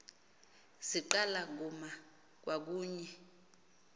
ziqala kuma kwakunye